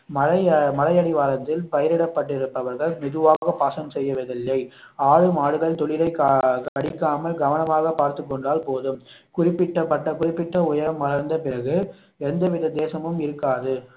மழை அஹ் மலை அடிவாரத்தில் பயிரிடப்பட்டிருப்பவர்கள் மெதுவாக பாசனம் செய்வதில்லை ஆடு மாடுகள் துளிரை கடிக்காமல் கவனமாக பார்த்துக் கொண்டால் போதும் குறிப்பிட்ட பட்ட குறிப்பிட்ட உயரம் வளர்ந்த பிறகு எந்த வித தேசமும் இருக்காது